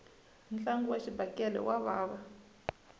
ntlangu wa xibakele wa vava